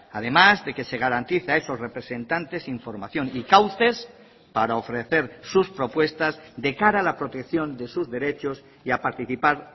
además de que se garantiza a esos representantes información y cauces para ofrecer sus propuestas de cara a la protección de sus derechos y a participar